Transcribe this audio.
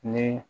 Ni